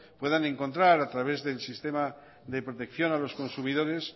puedan encontrar a través del sistema de protección a los consumidores